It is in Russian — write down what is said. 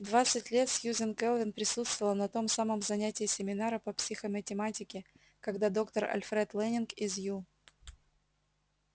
в двадцать лет сьюзен кэлвин присутствовала на том самом занятии семинара по психоматематике когда доктор альфред лэннинг из ю